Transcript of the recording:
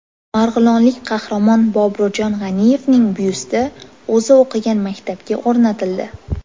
Marg‘ilonlik qahramon Boburjon G‘aniyevning byusti o‘zi o‘qigan maktabga o‘rnatildi.